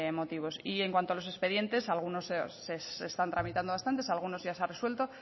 motivos y en cuanto a los expedientes se están tramitando bastantes alguno ya se ha resuelto